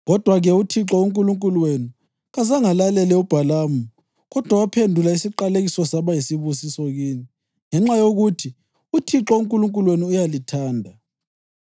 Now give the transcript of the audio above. Kodwa-ke, uThixo uNkulunkulu wenu kazangalalele uBhalamu kodwa waphendula isiqalekiso saba yisibusiso kini, ngenxa yokuthi uThixo uNkulunkulu wenu uyalithanda.